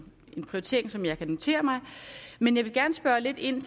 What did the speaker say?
prioritering som jeg kan notere mig men jeg vil gerne spørge lidt ind